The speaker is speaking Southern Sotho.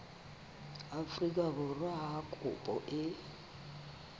afrika borwa ha kopo e